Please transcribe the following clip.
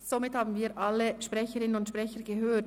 Somit haben wir alle Sprecherinnen und Sprecher gehört.